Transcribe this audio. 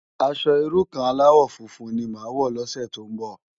Aṣò irú kàn álàwò fúnfún ni má wò lòsè tó n bò